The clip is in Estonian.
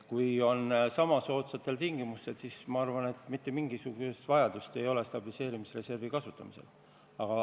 Kui saame laenu sama soodsatel tingimustel, siis ma arvan, et pole mitte mingisugust vajadust stabiliseerimisreservi kasutada.